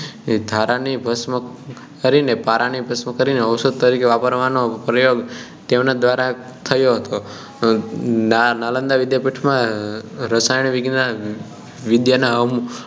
ધારા ને ભષ્મ કરી ને પારા ને ભસ્મ કરીને ઔષધિ તરીકે વારવાનો પ્રયોગ તેમના દ્વારા થયો હતો નાલંદા વિદ્યાપીઠ માં રસાયણ વિદ્યા નાં